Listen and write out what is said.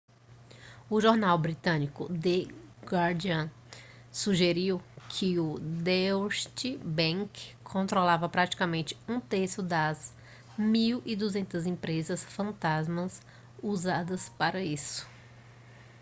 o jornal britânico the guardian sugeriu que o deutsche bank controlava praticamente um terço das 1200 empresas fantasmas usadas para isso